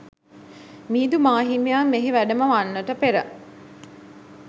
මිහිඳු මාහිමියන් මෙහි වැඩම වන්නට පෙර